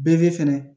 Bere fɛnɛ